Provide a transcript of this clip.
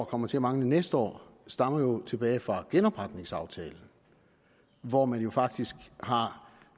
kommer til at mangle næste år stammer tilbage fra genopretningsaftalen hvor man faktisk har